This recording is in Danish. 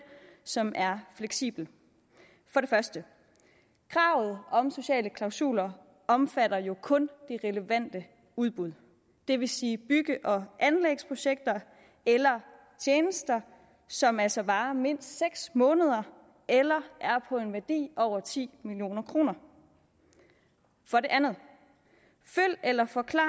som er fleksibel for det første kravet om sociale klausuler omfatter jo kun de relevante udbud det vil sige bygge og anlægsprojekter eller tjenester som altså varer mindst seks måneder eller er på en værdi af over ti million kroner for det andet følg eller forklar